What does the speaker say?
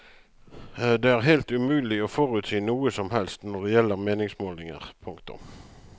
Det er helt umulig å forutsi noe som helst når det gjelder meningsmålinger. punktum